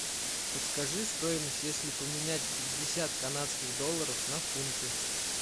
подскажи стоимость если поменять пятьдесят канадских долларов на фунты